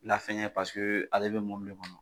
Lafɛn ye pa paseke ale bɛ mɔbil de kɔnɔ